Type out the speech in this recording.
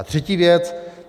A třetí věc.